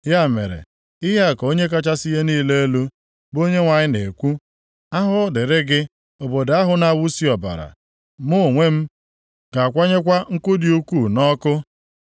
“ ‘Ya mere, ihe a ka Onye kachasị ihe niile elu, bụ Onyenwe anyị na-ekwu, “ ‘Ahụhụ dịrị gị obodo ahụ na-awụsi ọbara. Mụ onwe m ga-akwanyekwa nkụ dị ukwuu nʼọkụ.